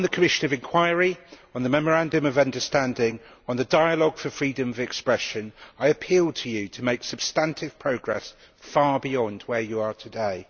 So, concerning the commission of inquiry, the memorandum of understanding and the dialogue for freedom of expression, I appeal to you to make substantive progress far beyond where you are today.